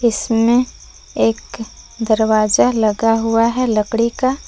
इसमें एक दरवाजा लगा हुआ है लकड़ी का।